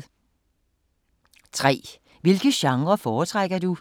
3) Hvilke genrer foretrækker du?